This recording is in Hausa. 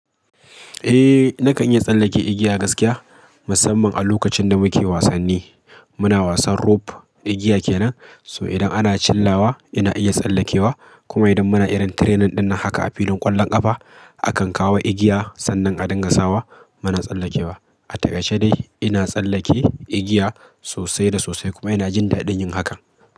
Eh, nakan iya tsallake igiya gaskiya, musamman a lokacin da muke wasanni. Muna wasan rope, igiya kenan, so idan ana chillawa ina iya tsallekewa. Kuma idan muna irin training ɗin haka a filin ƙwallon ƙafa, akan kawo igiya sannan a dinga sawa, muna tsallekewa. A takaice dai ina tsallake igiya sosai da sosai kuma ina jin daɗin yin hakan.